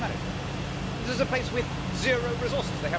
How did they manage that? This is a place with zero resources.